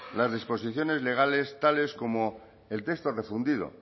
las disposiciones legales tales como el texto refundido